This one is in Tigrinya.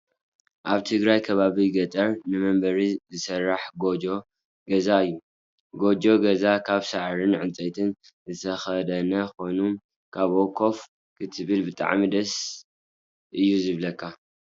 ኣብ ትግራይ ከባቢ ገጠር ንመንበሪ ዝስራሕ ጎጆ ገዛ እዩ። ጎጆ ገዛ ካብ ሳዕርን ዕንፀይትን ዝተከደነ ኮይኑ ኣብኡ ኮፍ ክትብል ብጣዕሚ እዩ ደስ ዝብለካ።